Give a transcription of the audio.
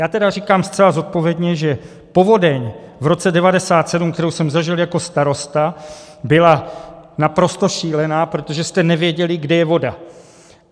Já tedy říkám zcela zodpovědně, že povodeň v roce 1997, kterou jsem zažil jako starosta, byla naprosto šílená, protože jste nevěděli, kde je voda.